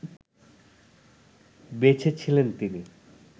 বেঁচে ছিলেন তিনি